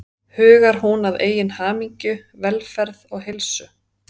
Hugar hún að eigin hamingju, velferð og heilsu?